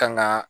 Kanga